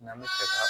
N'an bɛ fɛ ka